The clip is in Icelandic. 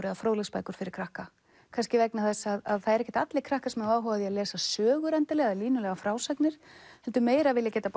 eða fróðleiksbækur fyrir krakka kannski vegna þess að það eru ekkert allir krakkar sem hafa áhuga á að lesa sögur eða línulegar frásagnir heldur meira vilja geta